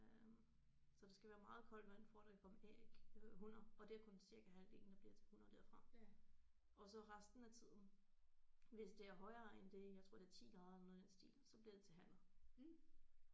Øh så der skal være meget koldt vand for at der kan komme æg øh hunner og det er kun cirka halvdelen der bliver til hunner derfra og så resten af tiden hvis det er højere end det jeg tror det er 10 grader eller noget i den stil så bliver det til hanner